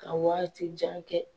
Ka wagati jan kɛ.